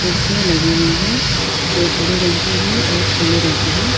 कुर्सियां लगी हुई है जो हरे रंग की है और पीले रंग की है।